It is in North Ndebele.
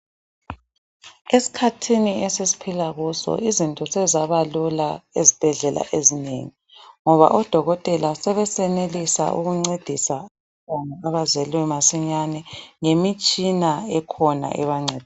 Esikhathini esesiphila kuso izinto sezabalula ezibhedlela ezinengi, ngoba odokotela sebesenelisa ukuncedisa abantwana abazelwe masinyane ngemitshina ekhona ebancedisayo.